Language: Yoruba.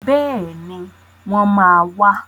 Bẹ́ẹ̀ni, wọ́n máa wà.